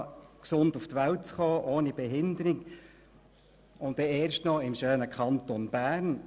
Ich hatte das Glück, gesund auf die Welt zu kommen, ohne Behinderung und dann erst noch im schönen Kanton Bern.